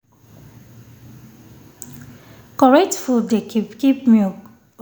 correct food dey help keep milk steady and na normal thing for this side